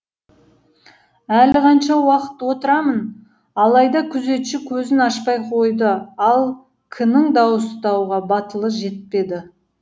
әлі қанша уақыт отырамын алайда күзетші көзін ашпай қойды ал к нің дауыстауға батылы жетпеді